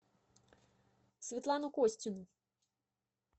светлану костину